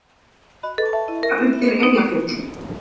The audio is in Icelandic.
Hálka undir Eyjafjöllum